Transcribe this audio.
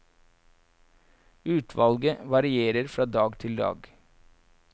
Utvalget varierer fra dag til dag.